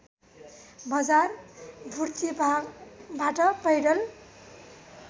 बजार बुर्तिवागबाट पैदल